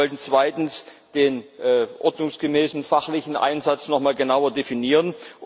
Wir wollen zweitens den ordnungsgemäßen fachlichen Einsatz nochmal genauer definieren.